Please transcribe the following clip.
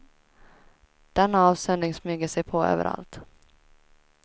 Denna avsöndring smyger sig på överallt.